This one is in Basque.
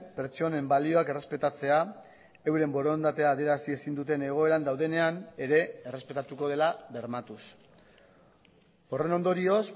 pertsonen balioak errespetatzea euren borondatea adierazi ezin duten egoeran daudenean ere errespetatuko dela bermatuz horren ondorioz